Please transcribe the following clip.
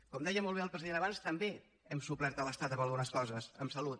com deia molt bé el president abans també hem suplert l’estat en algunes coses en salut